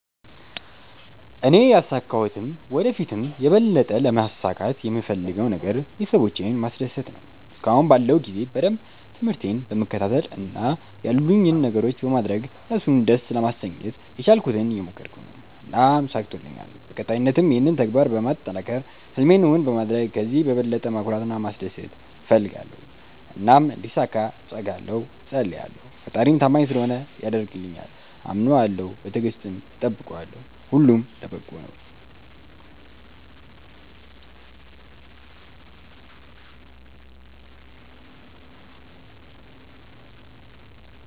እኔ ያሣካሁትም ወደ ፊትም የበለጠ ለማሣካት የምፈለገው ነገር ቤተሠቦቼን ማስደሰት ነዎ። እስከአሁን ባለው ጊዜ በደንብ ትምርህቴን በመከታተል እና ያሉኝን ነገሮች በማድረግ እነሡን ደስ ለማሠኘት የቻልኩትን እየሞከረኩ ነው። እናም ተሣክቶልኛል በቀጣይነትም ይህንን ተግባር በማጠናከር ህልሜን እውን በማድረግ ከዚህ በበለጠ ማኩራት እና ማስደሰት እፈልጋለሁ። እናም እንዲሣካ እተጋለሁ እፀልያለሁ። ፈጣሪም ታማኝ ስለሆነ ያደርግልኛል። አምነዋለሁ በትግስትም እጠብቀዋለሁ። ሁሉም ለበጎ ነው።